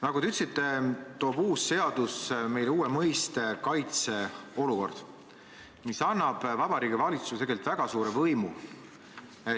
Nagu te ütlesite, loob uus seadus uue mõiste "kaitseolukord", mis annab Vabariigi Valitsusele tegelikult väga suure võimu.